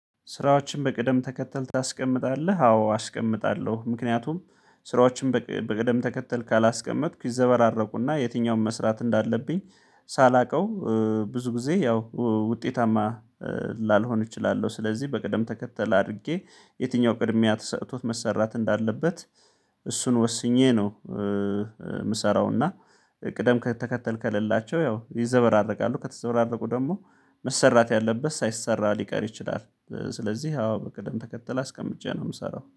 ስራዎችን በቅደም ተከተል ታስቀምጣለህ? አዎ አስቀምጣለሁ ምክንያቱም ስራዎችን በቅደም ተከተል ካላስቀመጥኩ ይዘበራረቁና የትኛውን መስራት እንዳለብኝ ሳላውቀው ብዙ ጊዜ ያው ውጤታማ ላልሆን እችላለሁ። ስለዚህ በቅደም ተከተል አድርጌ የትኛው ቅድሚያ ተሰጥቶት መሰራት እንዳለበት እሱን ወስኜ ነው። የምሰራው እና ቅደም ተከተል ከሌላቸው ያው ይዘበራረቃሉ ከተዘበራረቁ ደግሞ መሰራት ያለበት ሳይሰራ ሊቀር ይችላል። ስለዚህ አዎ በቅድም ተከተል አስቀምጬ ነው የምሰራው